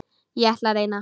En ég ætla að reyna.